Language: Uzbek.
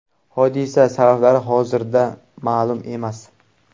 Hodisa sabablari hozirda ma’lum emas.